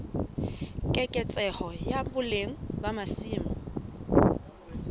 keketseho ya boleng ba masimo